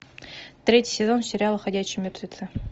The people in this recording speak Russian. третий сезон сериала ходячие мертвецы